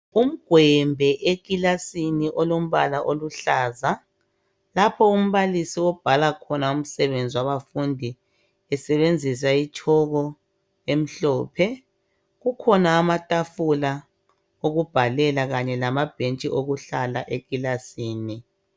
Umgwembe ekilasini elompala oluhlaza lapha umbalisi obhala khona umsebenzi wabafundi esebenzisa itshoko emhlophe kukhona amatafula okubhalela kanye lamabhentshi okuhlala ekilasini.